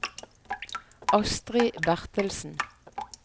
Astri Bertelsen